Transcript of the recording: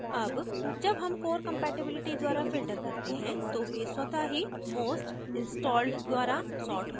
अब जब हम core compatibility द्वारा filter करते हैं तो वे स्वत: ही most installed द्वारा सॉर्ट होते हैं